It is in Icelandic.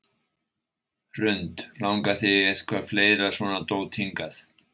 Hrund: Langar þig í eitthvað fleira svona dót hingað?